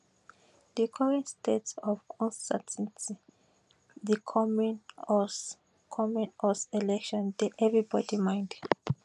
di current state of uncertainty di coming us coming us election dey everybody mind